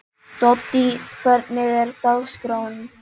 Doddý, hvernig er dagskráin?